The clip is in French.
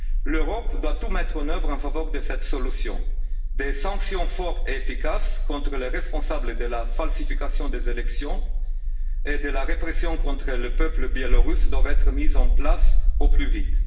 L'Europe doit tout mettre en œuvre en faveur de cette solution. Des sanctions fortes et efficaces contre les responsables de la falsification des élections et de la répression contre le peuple biélorusse doivent être mises en place au plus vite.